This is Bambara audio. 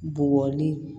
Bugɔli